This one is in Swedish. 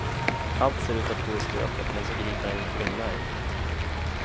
Allt ser ut att gå i stöpet men så griper en kvinna in.